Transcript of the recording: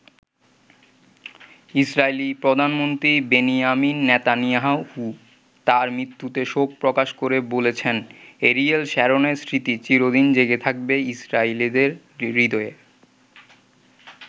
Israeli প্রধানমন্ত্রী Benjamin Netanyahu তাঁর মৃত্যুতে শোক প্রকাশ করে বলেছেন, এরিয়েল শ্যারনের স্মৃতি চিরদিন জেগে থাকবে ইসরায়েলিদের হৃদয়ে।